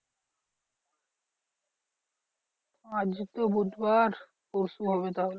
আজকে তো বুধবার পরশু হবে তাহলে।